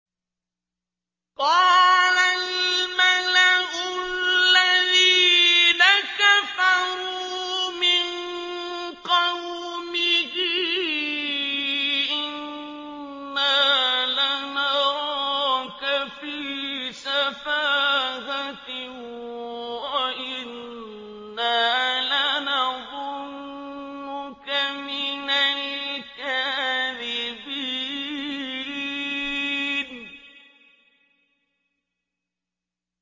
قَالَ الْمَلَأُ الَّذِينَ كَفَرُوا مِن قَوْمِهِ إِنَّا لَنَرَاكَ فِي سَفَاهَةٍ وَإِنَّا لَنَظُنُّكَ مِنَ الْكَاذِبِينَ